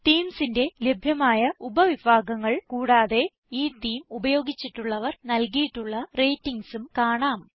themesന്റെ ലഭ്യമായ ഉപവിഭാഗങ്ങൾ കൂടാതെ ഈ തേമെ ഉപയോഗിചിട്ടുള്ളവർ നല്കിയിട്ടുള്ള ratingsഉം കാണാം